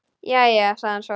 Jæja, sagði hann svo.